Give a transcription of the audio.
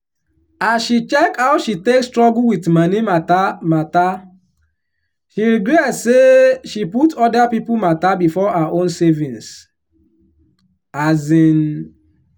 as she check how she take struggle with moni matter matter she regret say she put other people matter before her own savings. um